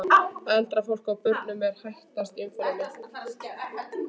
Eldra fólki og börnum er hættast í umferðinni.